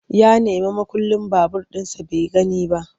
Ya nemi mukullin babur ɗinsa bai gani ba.